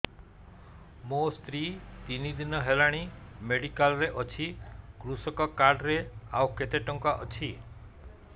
ମୋ ସ୍ତ୍ରୀ ତିନି ଦିନ ହେଲାଣି ମେଡିକାଲ ରେ ଅଛି କୃଷକ କାର୍ଡ ରେ ଆଉ କେତେ ଟଙ୍କା ଅଛି